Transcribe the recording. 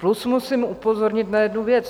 Plus musím upozornit na jednu věc.